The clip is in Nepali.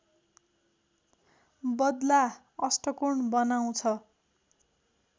बद्ला अष्टकोण बनाउँछ